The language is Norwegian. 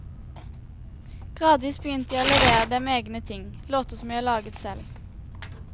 Gradvis begynte jeg å levere dem egne ting, låter som jeg laget selv.